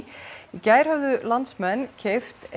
gær höfðu landsmenn keypt